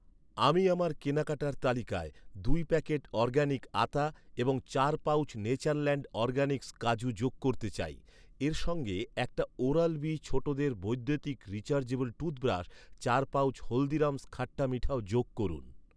আমি আমার কেনাকাটার তালিকায় দুই প্যাকেট অরগ্যানিক আতা এবং চার পাউচ নেচারল্যান্ড অরগ্যানিক্স কাজু যোগ করতে চাই। এর সঙ্গে একটা ওরাল বি ছোটদের বৈদ্যুতিক রিচার্জেবল টুথব্রাশ, চার পাউচ হলদিরাম'স্ খাট্টা মিঠাও যোগ করুন।